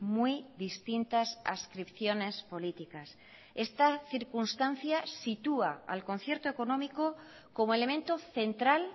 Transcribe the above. muy distintas adscripciones políticas esta circunstancia sitúa al concierto económico como elemento central